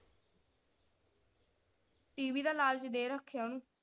TV ਦਾ ਲਾਲਚ ਦੇ ਰੱਖਿਆ ਓਹਨੂੰ।